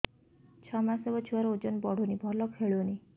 ଛଅ ମାସ ହବ ଛୁଆର ଓଜନ ବଢୁନି ଭଲ ଖେଳୁନି